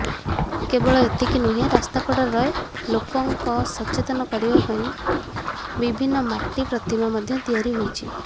କେବଳ ଏତିକି ନୁହେଁ ରାସ୍ତାକଡରେ ଲୋକଙ୍କ ସଚେତନ କରିବା ପାଇଁ ବିଭିନ୍ନ ମାଟି ପ୍ରତିମା ମଧ୍ୟ ତିଆରି ହୋଇଛି